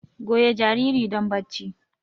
Goyi jariri don barci!